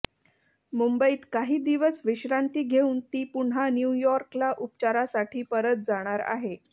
मुंबईत काही दिवस विश्रांती घेऊन ती पुन्हा न्यूयॉर्कला उपचारासाठी परत जाणार आहे